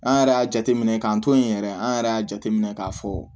An yɛrɛ y'a jateminɛ k'an to yen yɛrɛ an yɛrɛ y'a jateminɛ k'a fɔ